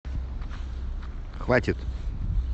хватит